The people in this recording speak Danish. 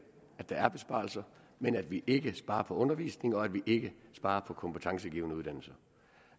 at der er besparelser men at vi ikke sparer på undervisning og at vi ikke sparer på kompetencegivende uddannelse